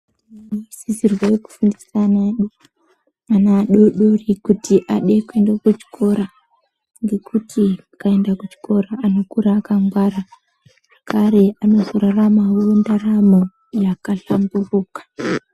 Tinosisirwa kufundisa ana edu ana adodori kuti Aende kuchikora ngekuti ukaenda kuchikora anokura akangwara zvakare anozoraramawo ndaramo yakahlamburuka.